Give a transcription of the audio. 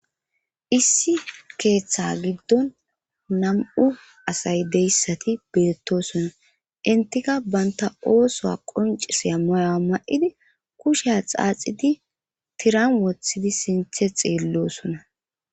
Issi keeththa giddon nam'u asay deyssati beettosona intika banta oosoa qonciseya moyaa ma7idi kusheya xaaxidi tiran wothidi sinthe xiillosona.